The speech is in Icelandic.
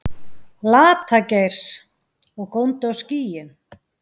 Lata-Geirs, og góndi á skýin.